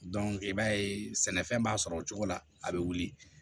i b'a ye sɛnɛfɛn b'a sɔrɔ o cogo la a bɛ wuli